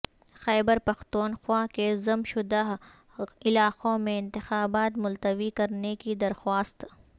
خیبر پختونخوا کے ضم شدہ علاقوں میں انتخابات ملتوی کرنے کی درخواست